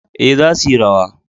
Ee, za suyi rawa.